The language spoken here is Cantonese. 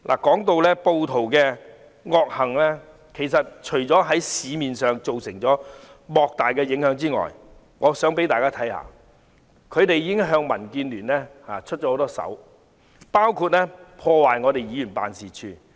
說到暴徒的惡行，除了對市面造成莫大影響外，我想讓大家看一看，他們其實已經多次向民建聯下手，包括破壞我們的議員辦事處。